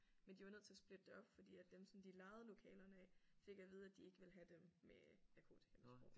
Men de var nødt til at splitte det op fordi at dem som de lejede lokalerne af fik at vide at de ikke ville have dem med narkotikamisbrug